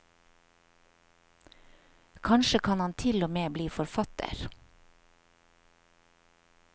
Kanskje kan han til og med bli forfatter.